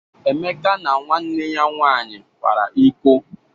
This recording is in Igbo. Emeka na nwanne ya nwaanyị kwara iko.